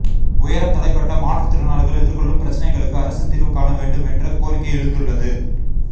உயரம் தடைபட்ட மாற்றுத்திறனாளிகள் எதிர்கொள்ளும் பிரச்னைகளுக்கு அரசு தீர்வு காண வேண்டும் என்ற கோரிக்கை எழுந்துள்ளது